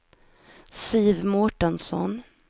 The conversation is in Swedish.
Siv Mårtensson